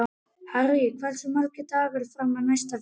Harry, hversu margir dagar fram að næsta fríi?